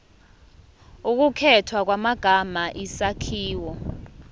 ukukhethwa kwamagama isakhiwo